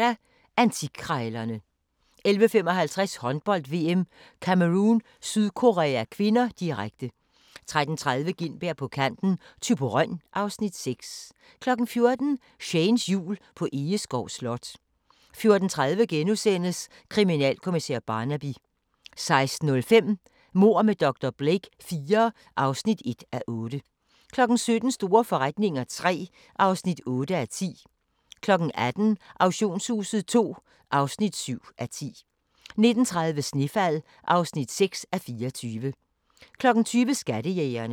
11:10: Antikkrejlerne 11:55: Håndbold: VM - Cameroun-Sydkorea (k), direkte 13:30: Gintberg på kanten – Thyborøn (Afs. 6) 14:00: Shanes Jul på Egeskov Slot 14:30: Kriminalkommissær Barnaby * 16:05: Mord med dr. Blake IV (1:8) 17:00: Store forretninger III (8:10) 18:00: Auktionshuset II (7:10) 19:30: Snefald (6:24) 20:00: Skattejægerne